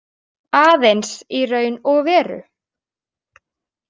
Aðeins í raun og veru.